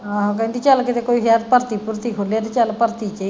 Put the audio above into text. ਆਹੋ ਕਹਿੰਦੀ ਚੱਲ ਕੀਤੇ ਕੋਈ ਸ਼ਹਿਰ ਭਰਤੀ ਭੁਰਤੀ ਖੁਲ੍ਹੇ ਤੇ ਚੱਲ ਭਰਤੀ ਸਹੀ।